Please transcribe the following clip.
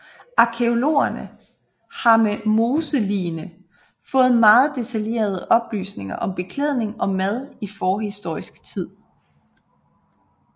Arkæologerne har med moseligene fået meget detaljerede oplysninger om beklædning og mad i forhistorisk tid